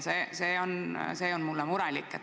See tekitab minus muret.